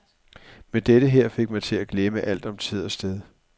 Men dette her fik mig til at glemme alt om tid og sted.